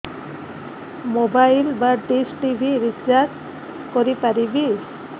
mobile ବା dish TV recharge କରି ପାରିବି